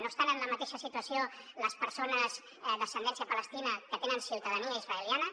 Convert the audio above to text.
no estan en la mateixa situació les persones d’ascendència palestina que tenen ciutadania israeliana